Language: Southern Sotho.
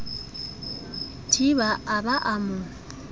thiba a ba a mo